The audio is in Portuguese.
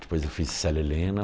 Depois eu fiz Célia Helena.